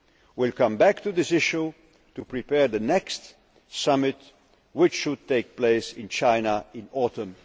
We will come back to this issue to prepare the next summit, which should take place in China in